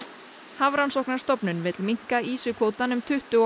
Hafrannsóknastofnun vill minnka ýsukvótann um tuttugu og